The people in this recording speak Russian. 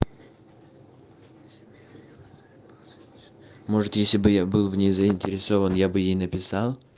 может если бы я был в ней заинтересован я бы ей написал